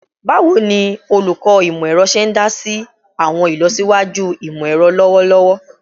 Bawo ni Olukọ Imọ-ẹrọ ṣe idasi si awọn ilọsiwaju imọ-ẹrọ lọwọlọwọ?